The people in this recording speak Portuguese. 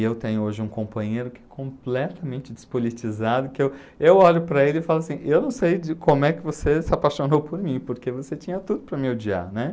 E eu tenho hoje um companheiro que é completamente despolitizado, que eu eu olho para ele e falo assim, eu não sei como é que você se apaixonou por mim, porque você tinha tudo para me odiar, né?